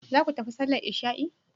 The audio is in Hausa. Zaku tafi sallar isha'i?